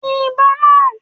Yin ìbọn náà!